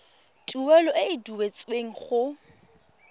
tuelo e e duetsweng go